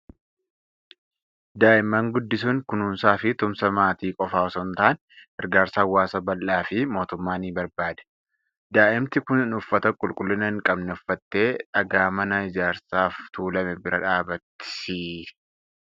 Daa'imman guddisuun kunuunsaa fi tumsa maatii qofaa osoo hin taane, gargaarsa hawaasa bal'aa fi mootummaa ni barbaada. Daa'imti kun uffata qulqullina hin qabne uffattee dhagaa mana ijaarsaaf tuulame bira kan jirtudha.